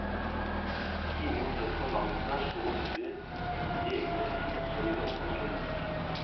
Ingen tør på langt nær så mye i egne liv som i det offentlige.